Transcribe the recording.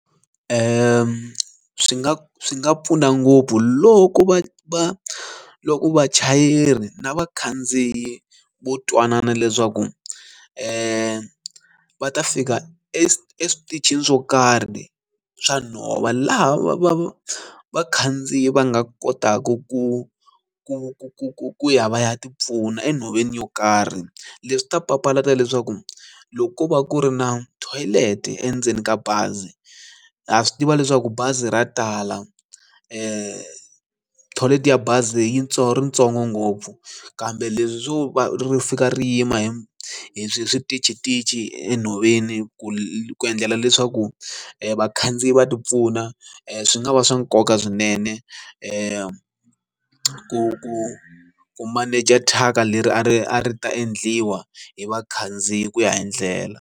Swi nga swi nga pfuna ngopfu loko va va loko vachayeri na vakhandziyi vo twanana leswaku va ta fika eswitichini swo karhi swa nhova laha va vakhandziyi va nga kotaku ku ku ku ku ku ku ya va ya tipfuna enhoveni yo karhi leswi swi ta papalata leswaku loko ko va ku ri na toilet endzeni ka bazi ya swi tiva leswaku bazi ra tala toilet ya bazi yitsongo ritsongo ngopfu kambe leswo ri fika ri yima hi the hi swihi switichi xitichi enhoveni ku endlela leswaku vakhandziyi va tipfuna swi nga va swa nkoka swinene ku ku ku maneja thyaka leri a ri a ri ta endliwa hi vakhandziyi ku ya hi ndlela.